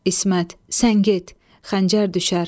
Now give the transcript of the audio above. İsmət, sən get, xəncər düşər.